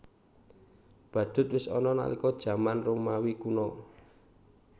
Badhut wis ana nalika jaman Romawi Kuna